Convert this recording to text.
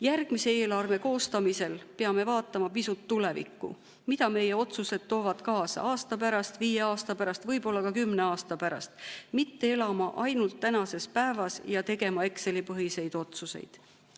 Järgmise eelarve koostamisel peame vaatama pisut tulevikku, mida meie otsused toovad kaasa aasta pärast, viie aasta pärast, võib-olla ka kümne aasta pärast, mitte elama ainult tänases päevas ja tegema Exceli-põhiseid otsuseid.